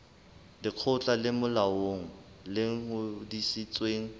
lekgotla le molaong le ngodisitsweng